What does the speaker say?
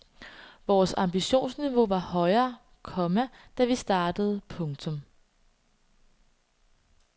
Vores ambitionsniveau var højere, komma da vi startede. punktum